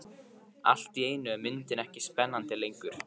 Allt í einu er myndin ekki spennandi lengur.